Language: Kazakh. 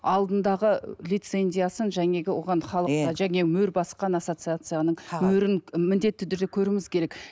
алдындағы лицензиясын жаңағы оған халықтың және мөр басқан ассоцияцияның мөрін міндетті түрде көруіміз керек